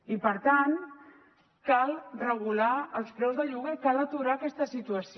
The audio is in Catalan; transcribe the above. i per tant cal regular els preus del lloguer cal aturar aquesta situació